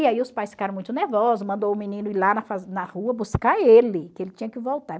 E aí os pais ficaram muito nervosos, mandou o menino ir lá na na rua buscar ele, que ele tinha que voltar.